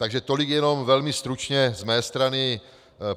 Takže tolik jenom velmi stručně z mé strany.